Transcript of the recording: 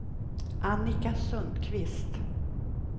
Annika Sundqvist